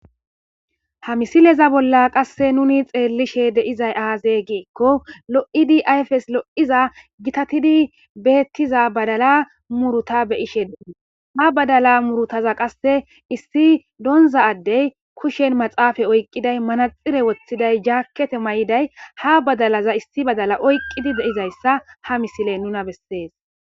ha misileza bolla qasse nuni xeellishe deizay aaze giikko lo7idi ayfes lo7iza gitatidi beettiza badala muruta beyishe din ha badala murutaza qasse issi doonza addey kushen maxaafa oyqqiday manaxire woththiday jaakkete may7iday ha badalaza issi badala oyqqidi deizayssa ha misile nuna bessees